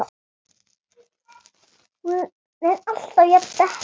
Er hún alltaf jafn dettin?